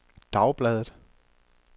dagbladet